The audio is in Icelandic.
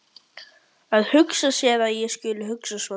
Að hugsa sér að ég skuli hugsa svona!